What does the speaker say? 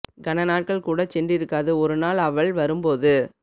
கன நாட்கள் கூடச் சென்றிருக்காது ஒரு நாள் அவள் வரும் போது